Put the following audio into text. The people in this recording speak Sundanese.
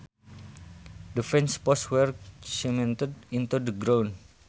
The fence posts were cemented into the ground